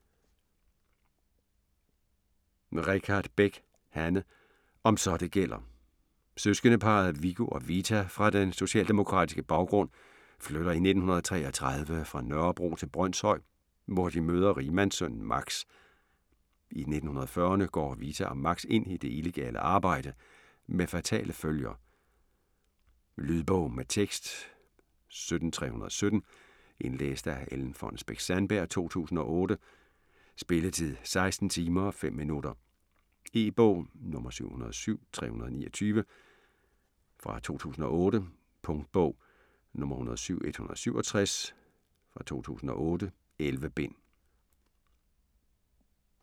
Richardt Beck, Hanne: Om så det gælder Søskendeparret Viggo og Vita med den socialdemokratiske baggrund flytter i 1933 fra Nørrebro til Brønshøj, hvor de møder rigmandssønnen Max. I 1940'erne går Vita og Max ind i det illegale arbejde med fatale følger. Lydbog med tekst 17317 Indlæst af Ellen Fonnesbech-Sandberg, 2008. Spilletid: 16 timer, 5 minutter. E-bog 707329 2008. Punktbog 107167 2008. 11 bind.